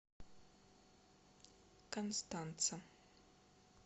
констанца